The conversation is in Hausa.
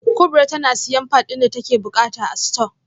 kubra tana siyan pad din da take bukata a store